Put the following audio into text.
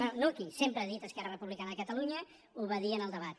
bé no aquí sempre ha dit esquerra republicana de catalunya ho va dir en el debat